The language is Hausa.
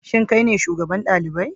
Shin kai ne shugaban dalibai?